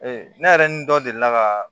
ne yɛrɛ ni dɔ delila ka